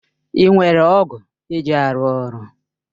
Ị nwere ọ̀gu eji arụ ọrụ?